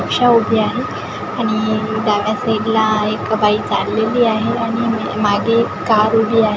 रिक्षा उभी आहे आणि डाव्या साईडला एक बाई चाललेली आहे आणि मागे कार उभी आहे.